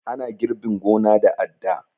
Ana girbin gona da adda